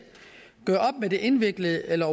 de indviklede eller